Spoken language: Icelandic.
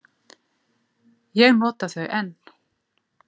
Ég nota þau enn.